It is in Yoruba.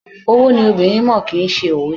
Owó ni obìnrin mọ̀, kì ń ṣe òwe.